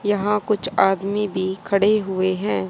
यहां कुछ आदमी भी खड़े हुए हैं।